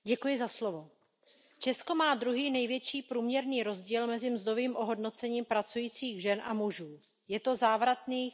Paní předsedající, Česko má druhý největší průměrný rozdíl mezi mzdovým ohodnocením pracujících žen a mužů. Je to závratných